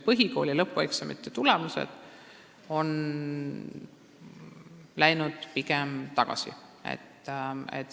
Põhikooli lõpueksamite tulemused on läinud pigem tagasi.